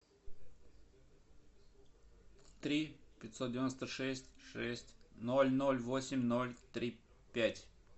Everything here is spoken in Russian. три пятьсот девяносто шесть шесть ноль ноль восемь ноль три пять